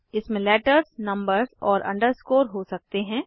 इसमें letters numbers और underscore हो सकते हैं